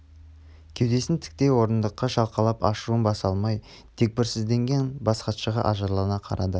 кеудесін тіктей орындыққа шалқалап ашуын баса алмай дегбірсізденген бас хатшыға ажарлана қарады